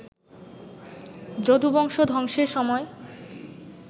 যদুবংশ ধ্বংসের সময়